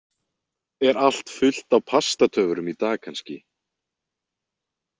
Er allt fullt á Pastatöfrum í dag kannski?